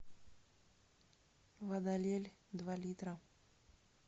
вода лель два литра